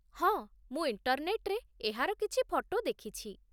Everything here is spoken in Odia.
ହଁ, ମୁଁ ଇଣ୍ଟର୍‌ନେଟ୍‌ରେ ଏହାର କିଛି ଫଟୋ ଦେଖିଛି